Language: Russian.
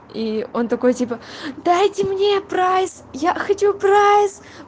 и он такой типа дайте мне прайс я хочу прайс